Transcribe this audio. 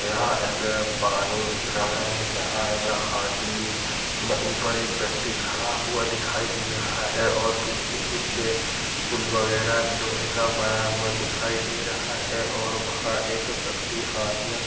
यह एक पानी दिख रहा है जहाँ एक हाथी व ऊपर एक व्यक्ति खड़ा हुआ दिखाई दे रहा है और पीछे कुछ पुल वगैरह लोहे का बना हुआ दिखाई दे रहा है और वहाँ एक व्यक्ति हाथ में--